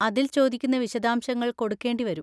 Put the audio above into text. അതിൽ ചോദിക്കുന്ന വിശദാംശങ്ങൾ കൊടുക്കേണ്ടി വരും.